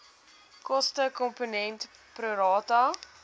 kostekomponent pro rata